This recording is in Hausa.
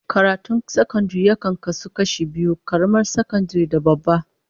Karatun sakandare yakan kasu biyu, karamar sakandare da babba